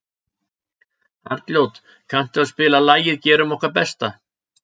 Arnljót, kanntu að spila lagið „Gerum okkar besta“?